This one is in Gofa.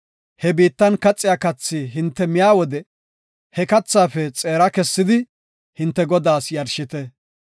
he biittan kaxiya kathi hinte miya wode he kathaafe xeera kessidi hinte Godaas yarshite.